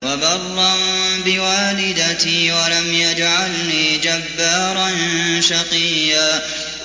وَبَرًّا بِوَالِدَتِي وَلَمْ يَجْعَلْنِي جَبَّارًا شَقِيًّا